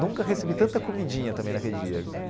Nunca recebi tanta comidinha também naquele dia.